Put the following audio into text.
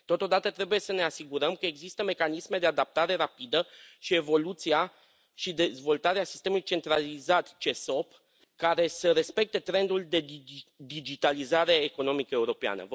Totodată, trebuie să ne asigurăm că există mecanisme de adaptare rapidă și evoluția și dezvoltarea sistemului centralizat CESOP care să respecte trendul de digitalizare economică europeană.